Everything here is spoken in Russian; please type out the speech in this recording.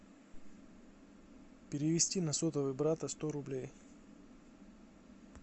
перевести на сотовый брата сто рублей